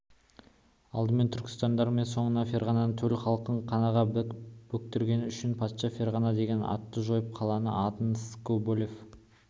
алдымен түрікмендердің соңыра ферғананың төл халқын қанға бөктіргені үшін патша ферғана деген атты жойып қаланын атын скоблев